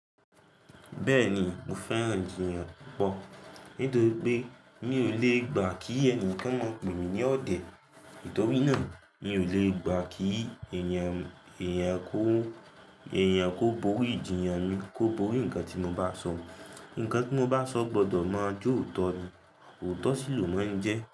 Bẹ́ẹ̀ni, mo fẹ́ràn ìjiyàn pọ̀. Nítorí pé mi ò lè gbà kí ẹnìkan máa pè mí ní ọ̀dẹ̀. Nítorí náà, mi ò lè gbà kí eyan èèyàn kó borí ìjiyàn mi, kó borí nǹkan tí mo bá sọ. Nǹkan tí mo bá sọ gbọdọ̀ máa jọ̀òtọ́ ni, òótọ́ síi lo máà ń jẹ́